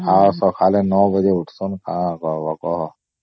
ଆଉ ସକାଳେ ୯ ବାଜେ ଉଠୁସନ କଣ କହିବା କୁହ